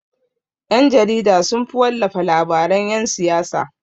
Ƴan-jarida sunfi wallafa labaran yan siyasa.